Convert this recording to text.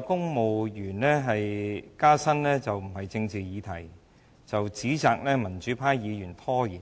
公務員加薪不是政治議題，指責民主派議員"拉布"拖延。